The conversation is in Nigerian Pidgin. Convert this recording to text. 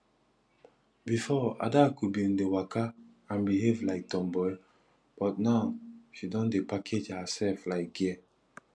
before adaku bin dey waka and behave like tomboy but now she don dey package herself like girl